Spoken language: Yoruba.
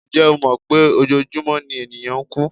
Ǹjẹ́ o mọ̀ pé ojoojúmọ́ ni ènìyàn ń kú?